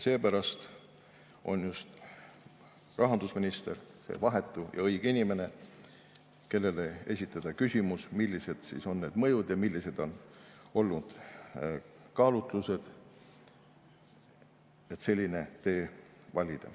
Seepärast on rahandusminister vahetu ja õige inimene, kellele esitada küsimus, millised on need mõjud ja millised on olnud kaalutlused, et selline tee valida.